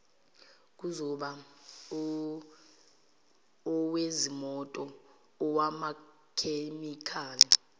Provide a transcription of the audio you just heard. kuzoba owezimoto owamakhemikhali